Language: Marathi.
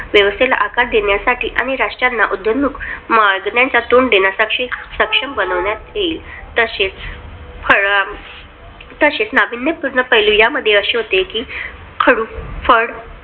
व्यवस्थेला आकार देण्यासाठी आणि राष्ट्राच्या उदयोन्मुख मागण्यांना तोंड देण्यासाठी सक्षम बनवण्यात येईल. तशेच फळंम तशेच नाविन्यपूर्ण पैलू या मध्ये अशे होते कि खडू-फळ